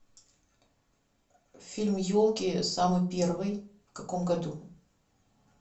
фильм елки самый первый в каком году